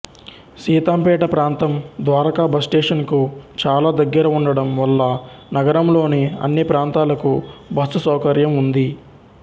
సీతాంపేట ప్రాంతం ద్వారకా బస్ స్టేషనుకు చాలా దగ్గరగా ఉండడం వల్ల నగరంలోని అన్ని ప్రాంతాలకు బస్సు సౌకర్యం ఉంది